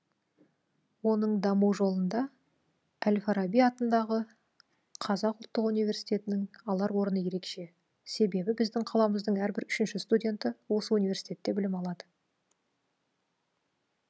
оның даму жолында әл фараби атындағы қазақ ұлттық универститеінің алар орны ерекше себебі біздің қаламыздың әрбір үшінші студенті осы университетте білім алады